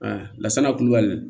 lasana kulubali